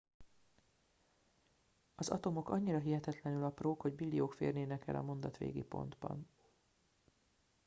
az atomok annyira hihetetlenül aprók hogy billiók férnének el a mondat végi pontban